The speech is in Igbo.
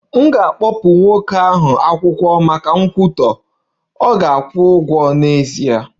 M ga-akpụpụ nwoke ahụ akwụkwọ maka nkwutọ, ọ ga-akwụ ụgwọ n'ezie